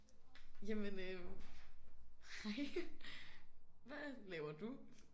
Jamen øh hej hvad laver du?